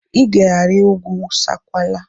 I ga-ari ugwu Sankwala!